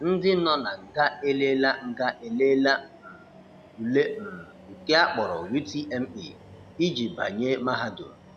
Ndị nọ na nga eleela nga eleela um ule um nke akpọrọ UTME iji banye Mahadum.